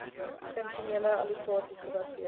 funksionele allokasies gebaseer